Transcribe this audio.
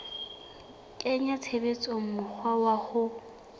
kenya tshebetsong mokgwa wa ho